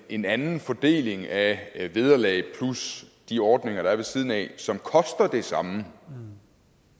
en anden fordeling af vederlag plus de ordninger der er ved siden af som koster det samme